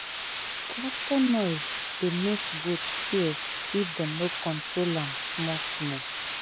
tractor noise dey make goat fear if dem no control am small small.